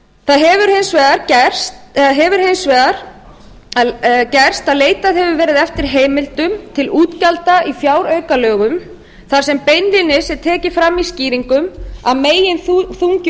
það hefur hins vegar gerst að leitað hefur verið eftir heimildum til útgjalda í fjáraukalögum þar sem beinlínis er tekið fram í skýringum að meginþungi